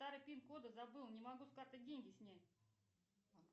старый пин код забыл не могу с карты деньги снять